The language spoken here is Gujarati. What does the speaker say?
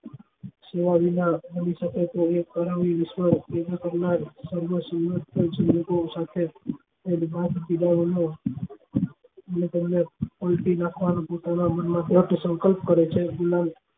જોયા વિના બની શકે તેવી પોતાના મન માં દ્રઢ સંકલ્પ કરે છે